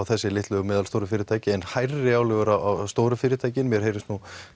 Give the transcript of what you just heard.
þessi litlu og meðalstóru fyrirtæki en hærri álögur á stóru fyrirtækin mér heyrist